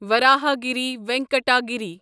Varahagiri Venkata Giri